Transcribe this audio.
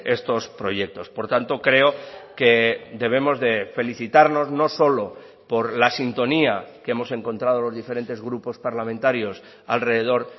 estos proyectos por tanto creo que debemos de felicitarnos no solo por la sintonía que hemos encontrado los diferentes grupos parlamentarios alrededor